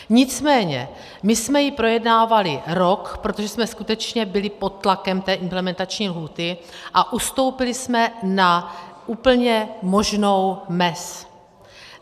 Nicméně my jsme ji projednávali rok, protože jsme skutečně byli pod tlakem té implementační lhůty, a ustoupili jsme na úplně možnou mez.